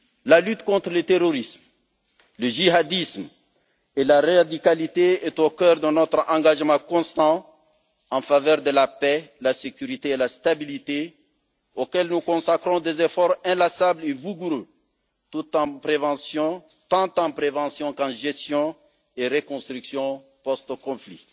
La lutte contre le terrorisme, le djihadisme et la radicalité est au cœur de notre engagement constant en faveur de la paix, la sécurité et la stabilité auquel nous consacrons des efforts inlassables et vigoureux, tant en prévention qu'en gestion et reconstruction post conflit.